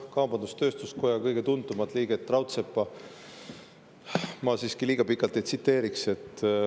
Kaubandus-tööstuskoja kõige tuntumat liiget Raudseppa ma siiski liiga pikalt ei tsiteeriks.